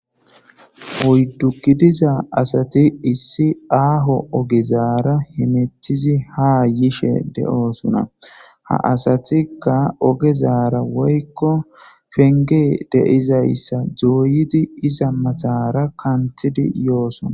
hoyddu gidiza asati issi aaho ogezaara himethizi haa yishe de7oosuna ha asatikka ogezaara woykko penge deizayssa jooyidi isa mathara kanthidi yoosona